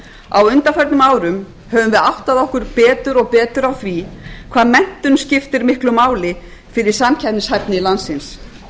á undanförnum árum höfum við áttað okkur betur og betur á því hvað menntun skiptir miklu máli fyrir samkeppnishæfni landsins